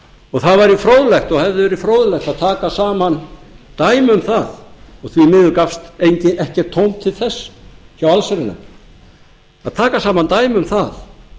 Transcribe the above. og það væri fróðlegt og hefði verið fróðlegt að taka saman dæmi um það en því miður gafst ekkert tóm til þess hjá allsherjarnefnd að taka saman dæmi um það